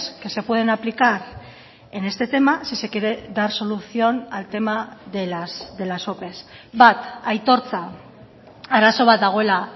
que se pueden aplicar en este tema si se quiere dar solución al tema de las ope bat aitortza arazo bat dagoela